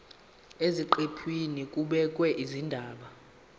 eziqephini kubhekwe izindaba